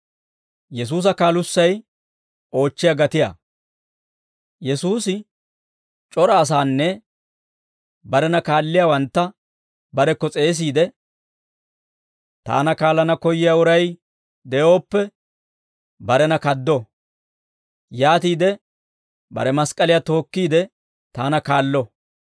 Yesuusi c'ora asaanne barena kaalliyaawantta barekko s'eesiide, «Taana kaallana koyyiyaa uray de'ooppe, barena kaddo; yaatiide bare mask'k'aliyaa tookkiide, taana kaallo.